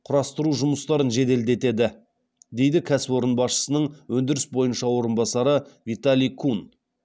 құрастыру жұмыстарын жеделдетеді дейді кәсіпорын басшысының өндіріс бойынша орынбасары виталий кун